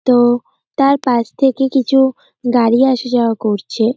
তো তার পাশ থেকে কিছু গাড়ি আসা-যাওয়া করছে।